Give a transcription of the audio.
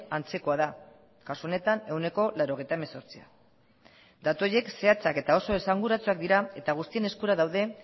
antzekoa da kasu honetan ehuneko laurogeita hemezortzia datu horiek zehatzak eta oso esanguratsuak dira eta guztien eskura daude